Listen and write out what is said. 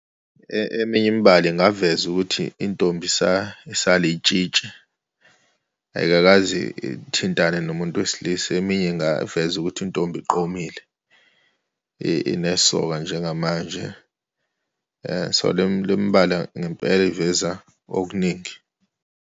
Eminye imibala ingaveza ukuthi intombi isalitshitshi, ayikakaze ithintane nomuntu wesilisa, eminye ingaveza ukuthi intombi iqomile, inesoka njengamanje. So, le mibala ngempela iveza okuningi.